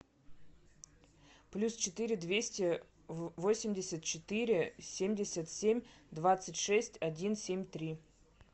плюс четыре двести восемьдесят четыре семьдесят семь двадцать шесть один семь три